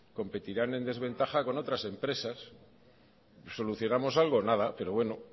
competirán en desventaja con otras empresas solucionamos algo nada pero bueno